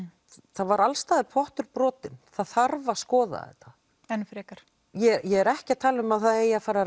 það var alls staðar pottur brotinn það þarf að skoða þetta ég er ekki að tala um að það eigi að fara að